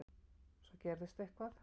Svo gerðist eitthvað.